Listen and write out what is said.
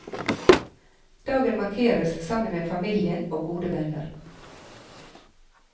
Dagen markeres sammen med familien og gode venner.